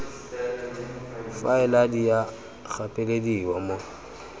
faela di a gapelediwa mo